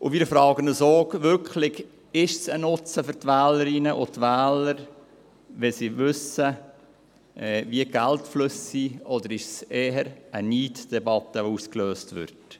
Wir fragen uns, ob dies denn wirklich ein Nutzen für die Wählerinnen und Wähler wäre, wenn sie wüssten, wie die Geldflüsse sind, oder ob eher eine Neiddebatte ausgelöst würde.